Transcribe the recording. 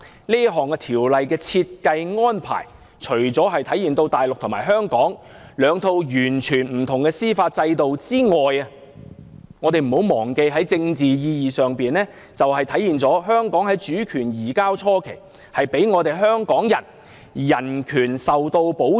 這項安排除了體現大陸與香港實行兩套完全不同的司法制度外，我們不要忘記，在政治意義上，更體現了在香港主權移交初期，大陸給予香港人的人權保障。